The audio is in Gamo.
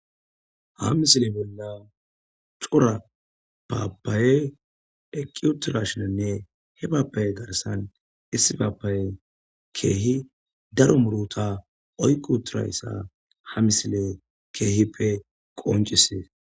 Ha misile bolla cora paapaye eqqi uturashinanne he paapaye garsan issi paapaye keehi daro muruta oyqu uturayssa ha misile keehippe qoncisees.